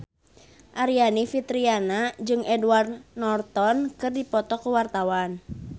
Aryani Fitriana jeung Edward Norton keur dipoto ku wartawan